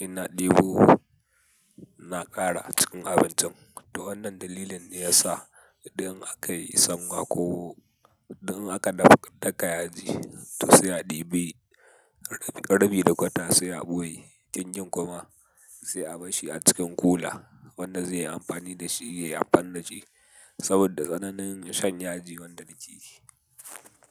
ina ɗebo na ƙara cikin abincin. To wannan dalilin ne ya sa idan aka yi sanwa ko idan aka daka yaji to sai a ɗebi, rabi da kwata sai a ɓoye. Kingin kuma sai a basshi a cikin kula wanda zai yi amfani da shi ya yi amfani da shi saboda tsananin shan yaji wanda yake yi.